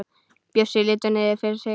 Bjössi lítur niður fyrir sig.